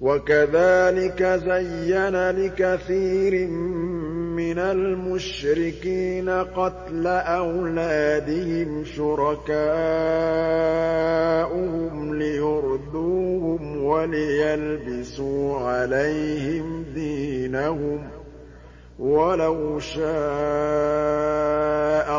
وَكَذَٰلِكَ زَيَّنَ لِكَثِيرٍ مِّنَ الْمُشْرِكِينَ قَتْلَ أَوْلَادِهِمْ شُرَكَاؤُهُمْ لِيُرْدُوهُمْ وَلِيَلْبِسُوا عَلَيْهِمْ دِينَهُمْ ۖ وَلَوْ شَاءَ